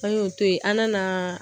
An y'o to yen an nana